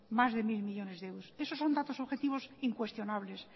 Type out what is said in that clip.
más de mil millónes de euros eso son datos objetivos incuestionables